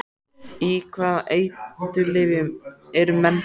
Á hvaða eiturlyfjum eru menn þarna?